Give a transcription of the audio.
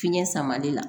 Fiɲɛ sama de la